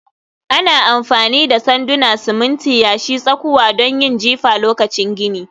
Ana amfani da sanduna, siminti, yashi, tsakuwa don yin jifa lokacin gini